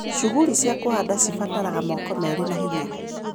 Cuguri cia kũhanda cĩbataraga moko merĩ na hinya.